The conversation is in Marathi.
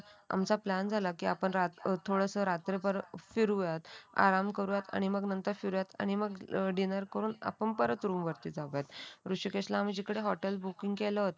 आमचा प्लॅन झाला की आपण थोडस रात्रभर फिरू आराम करूयात आणि मग नंतर फिरुयात आणि मग डिनर करून आपण परत रूम जाऊयात ऋषिकेशला आणि जिथे बुकिंग केलं होतं